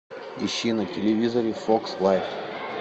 ищи на телевизоре фокс лайф